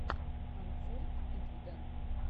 концерт итвдн